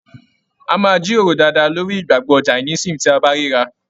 A máa jíròrò dáadáa lórí ìgbàgbọ Jàínisìm tí a bá ríra.